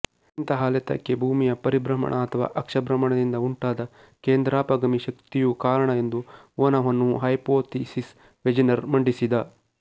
ಇಂತಹ ಅಲೆತಕ್ಕೆ ಭೂಮಿಯ ಪರಿಭ್ರಮಣ ಅಥವಾ ಅಕ್ಷಭ್ರಮಣದಿಂದ ಉಂಟಾದ ಕೇಂದ್ರಾಪಗಾಮಿ ಶಕ್ತಿಯು ಕಾರಣ ಎಂದು ಊಹನವನ್ನು ಹೈಪೊಥಿಸಿಸ್ ವೆಜೆನರ್ ಮಂಡಿಸಿದ